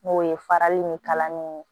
N'o ye farali ni kalan ni